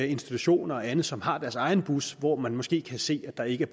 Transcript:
institutioner og andet som har deres egen bus hvor man måske kan se at der ikke